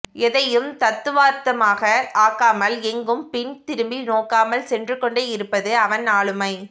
எதையும் தத்துவார்த்தமாக ஆக்காமல் எங்கும் பின் திரும்பி நோக்காமல் சென்றுகொண்டே இருப்பது அவன் ஆளுமை